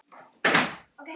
Hittir þú Beint í mark?